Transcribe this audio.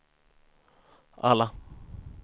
alla